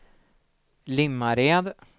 Limmared